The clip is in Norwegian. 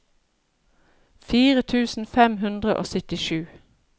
fire tusen fem hundre og syttisju